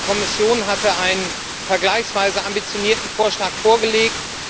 Die Kommission hatte einen vergleichsweise ambitionierten Vorschlag vorgelegt.